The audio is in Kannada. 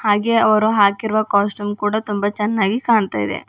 ಹಾಗೆ ಅವರು ಹಾಕಿರುವ ಕಾಸ್ಟ್ಯೂಮ್ ಕೂಡ ತುಂಬಾ ಚೆನ್ನಾಗಿ ಕಾಣ್ತಾ ಇದೆ.